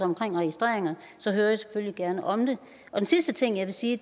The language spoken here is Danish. omkring registreringer så hører jeg selvfølgelig gerne om det den sidste ting jeg vil sige